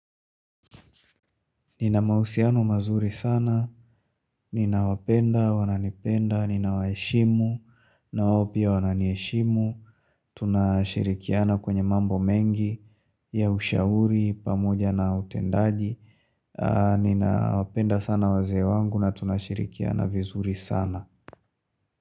Nina mausiano mazuri sana, nina wapenda, wananipenda, ninawaeshimu, nawo pia wananieshimu, tunashirikiana kwenye mambo mengi, ya ushauri, pamoja na utendaji, ninawapenda sana waze wangu na tunashirikiana vizuri sana.